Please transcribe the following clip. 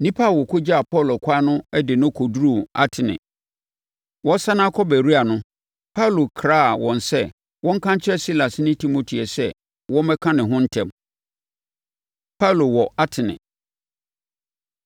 Nnipa a wɔkɔgyaa Paulo ɛkwan no de no kɔduruu Atene. Wɔresane akɔ Beroia no, Paulo kraa wɔn sɛ wɔnka nkyerɛ Silas ne Timoteo sɛ wɔmmɛka ne ho ntɛm. Paulo Wɔ Atene